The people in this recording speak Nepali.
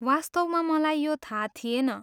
वास्तवमा मलाई यो थाहा थिएन।